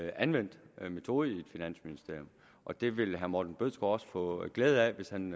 anvendt metode i et finansministerium og det vil herre morten bødskov også få glæde af hvis han